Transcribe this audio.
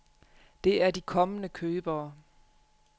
Det er de kommende købere.